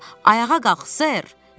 Ayağa qalx Sir.